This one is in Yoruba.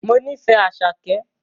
Mo nífẹ̀ẹ́ Àṣàkẹ́